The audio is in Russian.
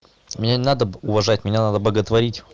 меня не надо уважать меня надо боготворить